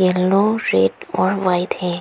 Yellow red और white है।